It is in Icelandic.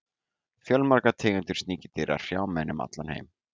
fjölmargar tegundir sníkjudýra hrjá menn um allan heim